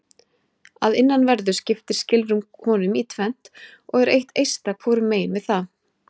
Að innanverðu skiptir skilrúm honum í tvennt og er eitt eista hvorum megin við það.